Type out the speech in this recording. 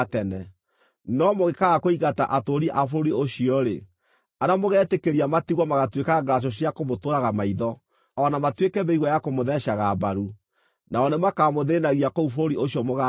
“ ‘No mũngĩkaaga kũingata atũũri a bũrũri ũcio-rĩ, arĩa mũgeetĩkĩria matigwo magaatuĩka ngaracũ cia kũmũtũraga maitho, o na matuĩke mĩigua ya kũmũtheecaga mbaru. Nao nĩmakamũthĩĩnagia kũu bũrũri ũcio mũgaatũũra.